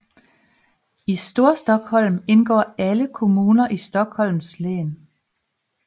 I Storstockholm indgår alle kommuner i Stockholms län